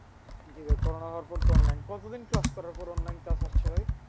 জি ভাই করনা হওয়ার পর তো online কতদিন class করার পর online class আসছে ভাই।